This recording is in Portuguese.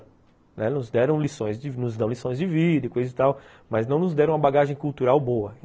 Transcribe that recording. Elas nos deram lições de vida e coisa e tal, mas não nos deram uma bagagem cultural boa.